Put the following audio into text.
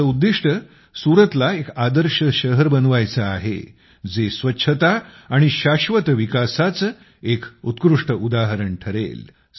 याचं लक्ष्य सुरतला एक आदर्श शहर बनवायचं आहे जे स्वच्छता आणि शाश्वत विकासांचं एक उत्कृष्ट उदाहरण बनले